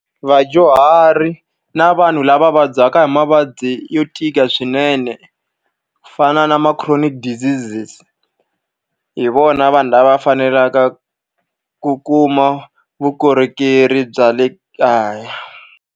Vadyuhari na vanhu lava vabyaka hi mavabyi yo tika swinene, ku fana na ma-chronic deseases hi vona vanhu lava faneleke ku kuma vukorhokeri bya le kaya.